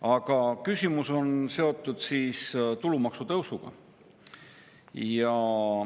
Aga küsimus on seotud tulumaksu tõusuga.